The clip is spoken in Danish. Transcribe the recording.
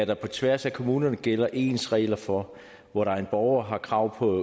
der på tværs af kommunerne gælder ens regler for hvor en borger har krav på